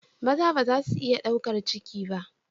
Maza ba za su iya ɗaukar ciki ba.